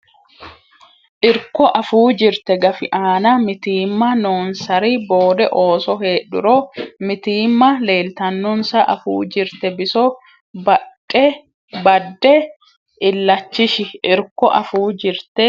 Irko Afuu jirte gafi aana mitiimma noonsari boode ooso heedhuro mitiimma leeltannonsa afuu jirte biso badde illachishi Irko Afuu jirte.